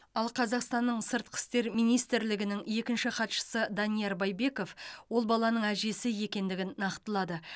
ал қазақстанның сыртқы істер министрлігінің екінші хатшысы данияр байбеков ол баланың әжесі екендігін нақтылады